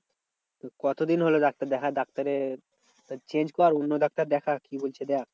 কতদিন হলো ডাক্তার দেখা ডাক্তারে change কর অন্য ডাক্তার দেখা কি বলছে দেখ?